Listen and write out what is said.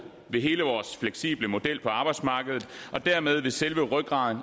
ved hele vores fleksible model på arbejdsmarkedet og dermed ved selve rygraden